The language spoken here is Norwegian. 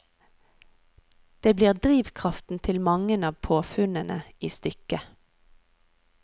Det blir drivkraften til mange av påfunnene i stykket.